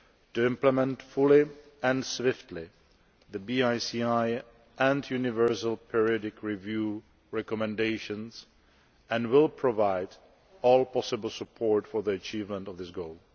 to implement fully and swiftly the BICI and universal periodic review recommendations and will provide all possible support for the achievement of this goal.